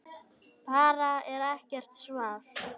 Bara er ekkert svar.